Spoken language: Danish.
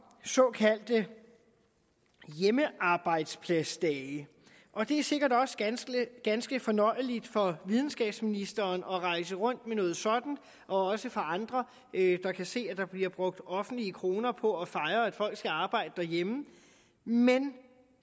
såkaldte hjemmearbejdspladsdage og det er sikkert også ganske ganske fornøjeligt for videnskabsministeren at rejse rundt med noget sådant også for andre der kan se at der bliver brugt offentlige kroner på at fejre at folk skal arbejde derhjemme men